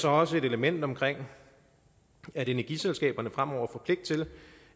også et element om at energiselskaberne fremover får pligt til